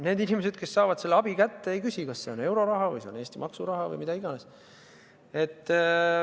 Need inimesed, kes saavad abi kätte, ei küsi, kas see on euroraha või Eesti maksuraha või midagi muud.